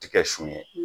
Tikɛ sun ye